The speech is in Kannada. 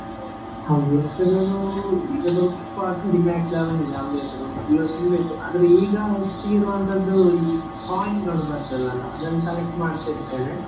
ಹವ್ಯಾಸಗಳೂ ಈಗ ಸ್ವಲ್ಪ ಕಡಿಮೆ ಆಗ್ತಾ ಬಂದಿದೆ ಹವ್ಯಾಸಗಳು ಮೊದ್ಲು ತುಂಬ ಇತ್ತು ಆದ್ರೆ ಈಗ ಹೆಚ್ಚಿಗೆ ಇರುವಂತದ್ದು ಈ coin ಗಳು ಬರ್ತದಲ್ಲ ಅದನ್ನು collect ಮಾಡ್ತಿರ್ತೇನೆ .